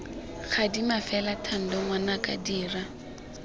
gadima fela thando ngwanaka dira